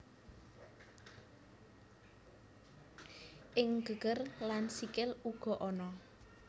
Ing geger lan sikil uga ana